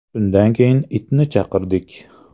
Shundan keyin itni chaqirdik.